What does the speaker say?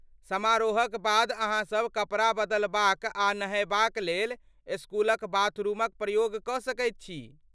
समारोहक बाद अहाँसब कपड़ा बदलबाक आ नहयबाक लेल इस्कूलक बाथरुमक प्रयोग कऽ सकैत छी।